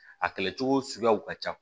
A kɛlɛcogo suguyaw ka ca